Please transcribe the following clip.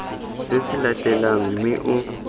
se se latelang mme o